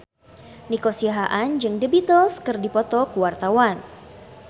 Nico Siahaan jeung The Beatles keur dipoto ku wartawan